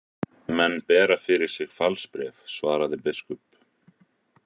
Menn bera fyrir sig falsbréf, svaraði biskup.